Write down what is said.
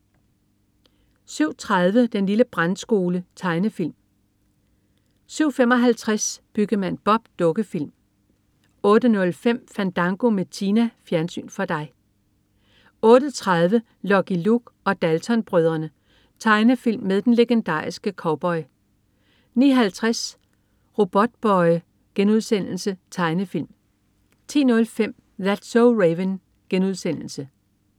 07.30 Den lille Brandskole. Tegnefilm 07.55 Byggemand Bob. Dukkefilm 08.05 Fandango med Tina. Fjernsyn for dig 08.30 Lucky Luke og Dalton-brødrene. Tegnefilm med den legendariske cowboy 09.50 Robotboy.* Tegnefilm 10.05 That's so Raven*